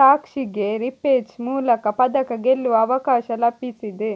ಸಾಕ್ಷಿಗೆ repechage ಮೂಲಕ ಪದಕ ಗೆಲ್ಲುವ ಅವಕಾಶ ಲಭಿಸಿದೆ